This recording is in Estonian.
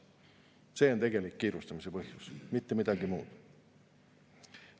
See on kiirustamise tegelik põhjus, mitte midagi muud.